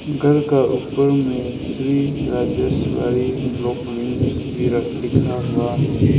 घर का ऊपर में श्री राजेश्वरी ब्लॉक लिंक्स भी र लिखा हुआ है।